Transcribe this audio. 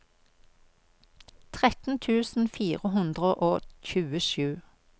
tretten tusen fire hundre og tjuesju